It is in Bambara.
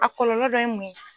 A kɔlɔlɔ dɔ ye mun ye.